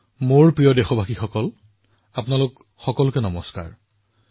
মোৰ মৰমৰ দেশবাসী আপোনালোক সকলোকে শুভেচ্ছা জনাইছো